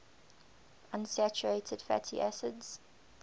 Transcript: unsaturated fatty acids